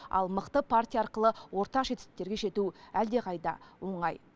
ал мықты партия арқылы ортақ жетістіктерге жету әлдеқайда оңай